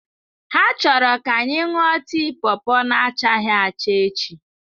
Ha chọrọ ka anyị ṅụọ tii pawpaw na achaghị acha echi.